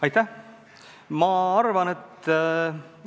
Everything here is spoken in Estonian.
Aitäh!